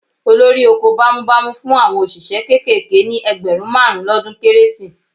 Olórí oko bámúbamù fún àwọn òṣìṣẹ́ kéékèèké ní ẹgbẹ̀rún márùn-ún lọ́dún Kérésì